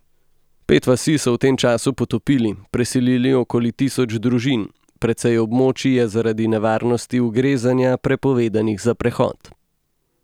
Pet vasi so v tem času potopili, preselili okoli tisoč družin, precej območij je zaradi nevarnosti ugrezanja prepovedanih za prehod.